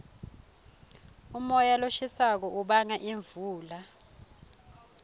umoya loshisako ubanga imvula